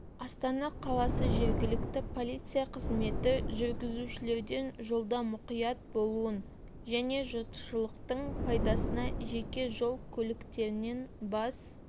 астана қаласы жергілікті полиция қызметі жүргізушілерден жолда мұқият болуын және жұртшылықтың пайдасына жеке жол көліктерінен бас